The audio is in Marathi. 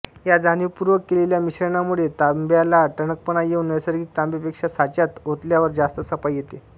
या जाणीवपूर्वक केलेल्या मिश्रणामुळे तांब्याला टणकपणा येऊन नैसर्गिक तांब्यापेक्षा साच्यात ओतल्यावर जास्त सफाई येते